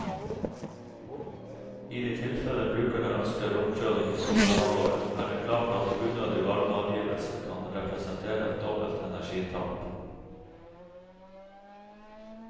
I de tilfeller brukerne ønsker romkjøling i sommerhalvåret, er det klart at unødig varmeavgivelse kan representere et dobbelt energitap.